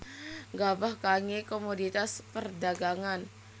Gabah kanggé komoditas perdhagangan